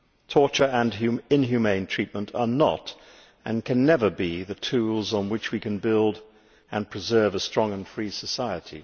Torture and inhumane treatment are not, and can never be, the tools on which we can build and preserve a strong and free society.